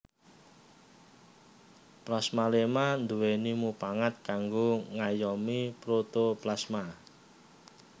Plasmaléma nduwèni mupangat kanggo ngayomi protoplasma